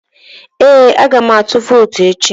Ee, aga m atụ vootu echi